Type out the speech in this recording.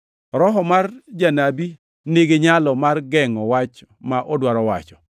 Roho mar janabi niginyalo mar gengʼo wach ma odwaro wacho,